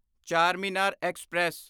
Charminar express